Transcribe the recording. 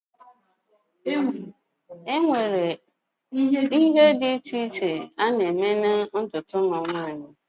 enwere ụdị na ụkpụrụ dị iche iche na-eme ntutu ụmụ nwanyị